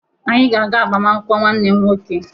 Anyị ga-aga agbamaakwụkwọ nwanne m nwoke